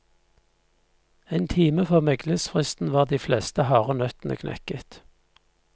En time før meglingsfristen var de fleste harde nøttene knekket.